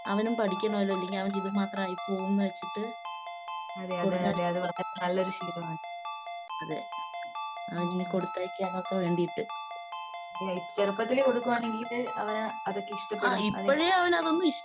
അവനും പഠിക്കണമല്ലോ ഇല്ലെങ്കിൽ അവൻ ഇതുമാത്രം ആയിപോവുമെന്ന് വെച്ചിട്ട് അതെ അവനിനി കൊടുത്തായ്ക്കാനൊക്കെ വേണ്ടീട്ട്. ആഹ് ഇപ്പോഴേ അവനതൊന്നും ഇഷ്ട്ടീല.